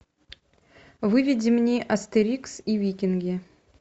выведи мне астерикс и викинги